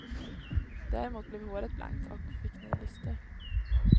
Däremot blev håret blankt och fick ny lyster.